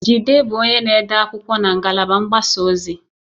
Jide bụ onye na-ede akwụkwọ na ngalaba mgbasa ozi.